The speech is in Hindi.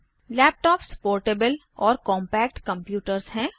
लैपटॉप्स पोर्टेबल और कॉम्पैक्ट कम्प्यूटर्स हैं